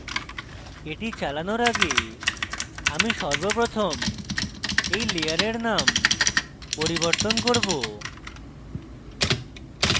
এটি চালানর আগে আমি সর্বপ্রথম এই layers names পরিবর্তন করব